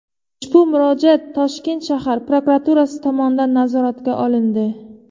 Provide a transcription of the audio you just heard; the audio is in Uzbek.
Ushbu murojaat Toshkent shahar prokuraturasi tomonidan nazoratga olindi.